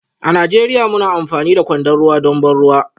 A Najeriya muna amfani da kwandon ruwa don ban ruwa